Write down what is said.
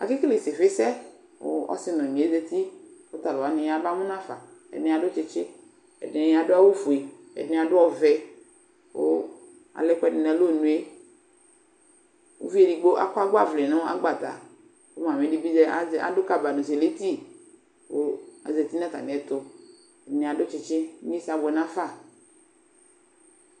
Ake kele isifisɛ, kʋ ɔsi nʋ ɔnyɩ azǝtɩ, kʋ tʋ alʋwa yaba mʋ nafa Ɛdɩnɩ adʋ tsɩtsɩ, ɛdɩnɩ adʋ awʋfue, ɛdɩnɩ adʋ ɔvɛ Kʋ alɛ ɛkʋɛdɩ nʋ alɔnʋ yɛ Uvi edigbo akɔ agbavlɛ nʋ agbata, kʋ mami dɩ bɩ adʋ "kaba nʋ sɩmiti" kʋ azǝtɩ nʋ atamɩɛtʋ Ɛdɩnɩ adʋ tsɩtsɩ Inyesɛ abʋɛnafa